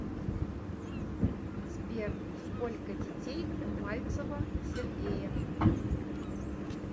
сбер сколько детей у мальцева сергея